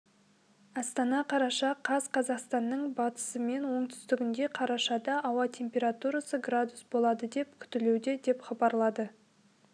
астана қараша қаз қазақстанның батысы мен оңтүстігінде қарашада ауа температурасы градус болады деп күтілуде деп хабарлады